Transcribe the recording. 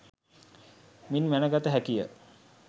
මින් මැනගත හැකිය